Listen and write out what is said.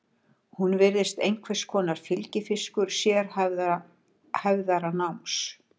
Hún virðist einhvers konar fylgifiskur sérhæfðara náms.